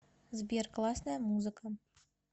сбер классная музыка